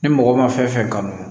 Ni mɔgɔ ma fɛn fɛn kanu